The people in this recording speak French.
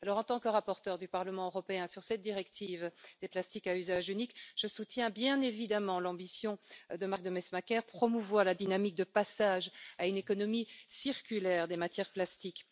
Alors, en tant que rapporteure du Parlement européen sur cette directive sur les plastiques à usage unique, je soutiens bien évidemment l'ambition de Marc Demesmaeker, de promouvoir la dynamique de passage à une économie circulaire des matières plastiques.